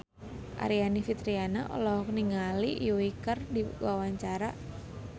Aryani Fitriana olohok ningali Yui keur diwawancara